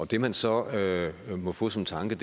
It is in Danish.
det man så må få som tanke